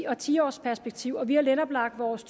og ti års perspektiver og vi har netop lagt vores